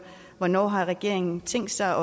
hvornår har regeringen tænkt sig